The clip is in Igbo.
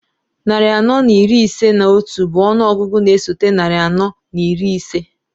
Narị anọ na iri ise na otu bụ ọnụ ọgụgụ na-esote narị anọ na iri ise.